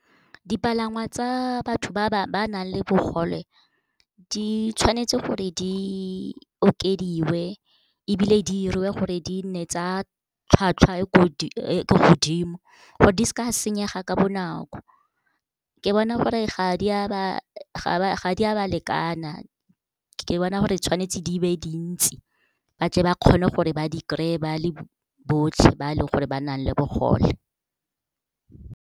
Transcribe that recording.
Dipalangwa tsa batho ba nang le bogole, di tshwanetse gore di okediwe ebile di 'iriwe gore di nne tsa tlhwatlhwa e ko godimo gore di seke di a senyega ka bonako. Ke bona gore ga di a ba lekana. Ke bona gore tshwanetse di be dintsi, ba tle ba kgone gore ba di kry-e, ba le botlhe ba leng gore ba nang le bogole.